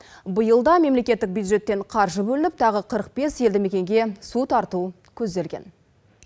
биыл да мемлекеттік бюджеттен қаржы бөлініп тағы қырық бес елді мекенге су тарту көзделген